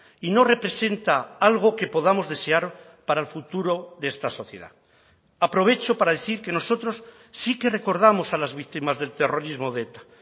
y no representa algo que podamos desear para el futuro de esta sociedad aprovecho para decir que nosotros sí que recordamos a las víctimas del terrorismo de eta